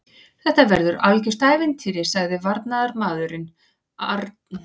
Þetta verður algjört ævintýri, sagði varnarmaðurinn, Arna Sif Ásgrímsdóttir leikmaður Vals og íslenska landsliðsins.